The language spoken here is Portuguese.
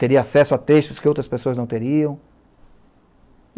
Teria acesso a textos que outras pessoas não teriam?